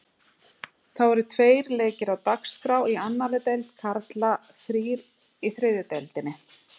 Þá eru tveir leikir á dagskrá í annarri deild karla og þrír í þriðju deildinni.